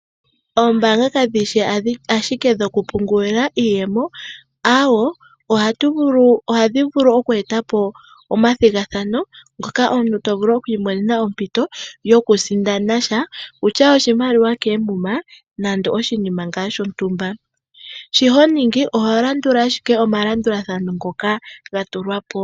Oombaanga kadhi shi ashike dhokupungulila iiyemo. Awee ohadhi vulu oku etapo omathigathano ngoka omuntu tovulu oku imonena ompito yoku sindana sha . Okutya oshimaliwa koomuma nande oshinima shontumba. Shi honingi oho landula ashike omalandulathano ngoka ga tulwa po.